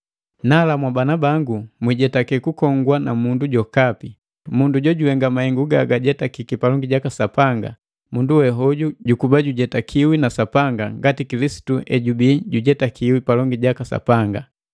Nala, mwabana bangu, mwijetake kukongwa na mundu jokapi. Mundu jojuhenga mahengu gagajetakiki palongi jaka Sapanga, mundu wehoju jukuba jojujetakiwi na Sapanga ngati Kilisitu ejubii jujetakiki palongi jaka Sapanga.